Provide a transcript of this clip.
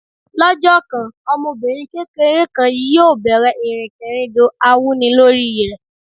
Lọ́jọ́ kan, ọmọbìnrin kékeré kan yóò bẹ̀rẹ̀ ìrìnkèrindò awúnilórí rẹ̀.